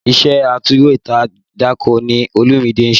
Iṣẹ́ atúwèédàkọ ni Olúmide ń ṣe